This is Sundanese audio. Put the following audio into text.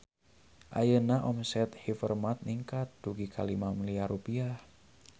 Ayeuna omset Hypermart ningkat dugi ka 5 miliar rupiah